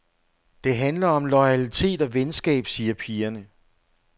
Det handler om loyalitet og venskab, siger pigerne.